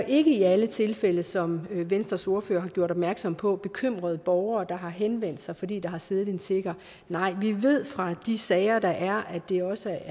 ikke i alle tilfælde sådan som venstres ordfører har gjort opmærksom på bekymrede borgere der har henvendt sig fordi der har siddet en tigger nej vi ved fra de sager der er at det også